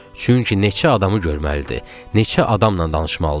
Çünki neçə adamı görməlidir, neçə adamla danışmalıdır.